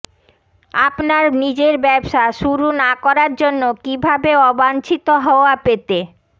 আপনার নিজের ব্যবসা শুরু না করার জন্য কিভাবে অবাঞ্ছিত হত্তয়া পেতে